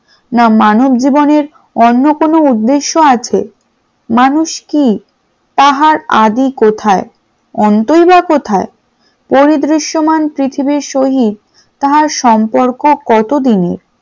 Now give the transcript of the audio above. না মানব জীবনে অন্য কোন উদ্দেশ্য আছে মানুষ কি তাহার আদি কোথায়? অন্তই বা কোথায়? পরিদৃশ্যমান পৃথিবীর সহিত তাহার সম্পর্ক কতদিনের?